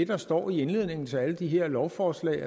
der står i indledningen til alle de her lovforslag